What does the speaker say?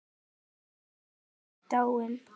Hún Katrín er dáin.